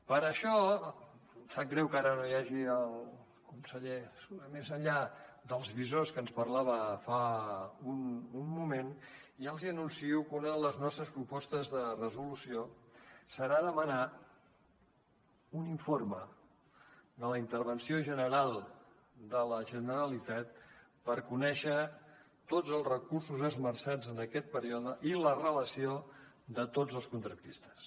per això em sap greu que ara no hi hagi el conseller més enllà dels visors que ens parlava fa un moment ja els anuncio que una de les nostres propostes de resolució serà demanar un informe de la intervenció general de la generalitat per conèixer tots els recursos esmerçats en aquest període i la relació de tots els contractistes